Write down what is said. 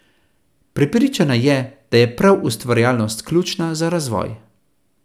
Prepričana je, da je prav ustvarjalnost ključna za razvoj.